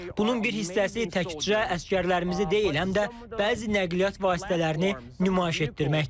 Bunun bir hissəsi təkcə əsgərlərimizi deyil, həm də bəzi nəqliyyat vasitələrini nümayiş etdirməkdir.